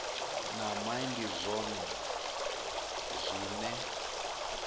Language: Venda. na mai ndi zwone zwine